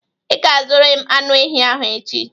Ị ga-azụrịrị anụ ehi ahụ echi!